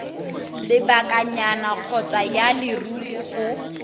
lebakanyana kgotsa ya leruri go